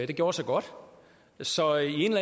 det gjorde sig godt så i en